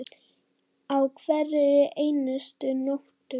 Á hverri einustu nóttu.